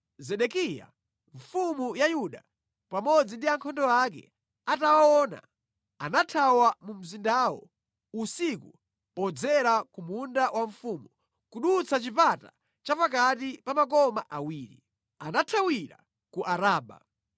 Zedekiya mfumu ya Yuda pamodzi ndi ankhondo ake atawaona, anathawa mu mzindawo usiku podzera ku munda wa mfumu, kudutsa chipata cha pakati pa makoma awiri. Anathawira ku Araba.